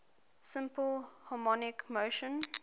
simple harmonic motion